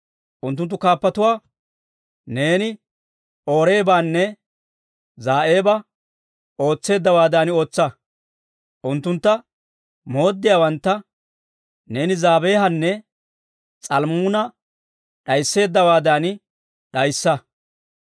Unttunttu kaappotuwaa, neeni Oreebanne Za'eeba ootseeddawaadan ootsa; unttuntta mooddiyaawantta neeni Zebaahanne S'almmunaa'a d'ayisseeddawaadan d'ayissa.